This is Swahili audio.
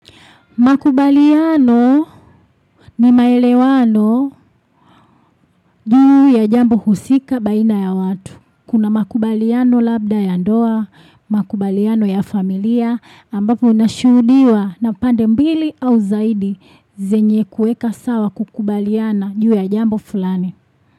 Makubaliano ni maelewano juu ya jambo husika baina ya watu. Kuna makubaliano labda ya ndoa, makubaliano ya familia ambapo unashuhudiwa na pande mbili au zaidi zenye kueka sawa kukubaliana juu ya jambo fulani.